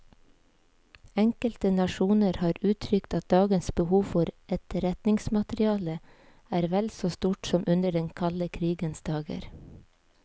Enkelte nasjoner har uttrykt at dagens behov for etterretningsmateriale er vel så stort som under den kalde krigens dager.